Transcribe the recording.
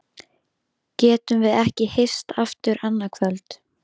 Getum við ekki hist aftur annað kvöld?